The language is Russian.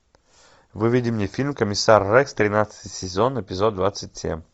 выведи мне фильм комиссар рекс тринадцатый сезон эпизод двадцать семь